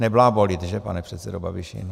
Neblábolit, že, pane předsedo Babiši.